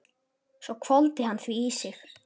Svo hvolfdi hann því í sig.